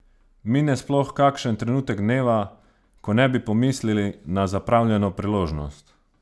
Mine sploh kakšen trenutek dneva, ko ne bi pomislili na zapravljeno priložnost?